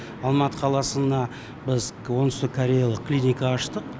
алматы қаласында біз оңтүстік кореялық клиника аштық